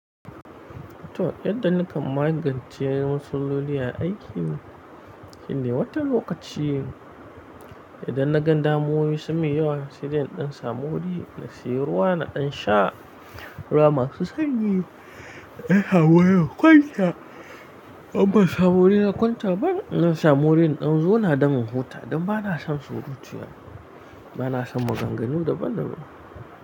To yadda na kam magance matsaloli a aiki, shine wata lokaci idan na gan damowoyi sun min yawa, sai dai in samu wuri na siyi ruwa na dan sha ruwa masu sanyi. Zan samu waje na kwanta, in ban samu wuri na kwanta ba na samu wurin in zauna da in huta don bana son surutu. Bana son maganganu da ban da ban.